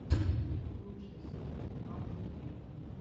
лучшая серия иван эфиров